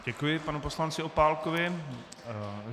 Děkuji panu poslanci Opálkovi.